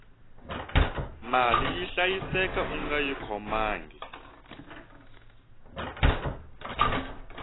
mali yi hlayiseka ungayi khomangi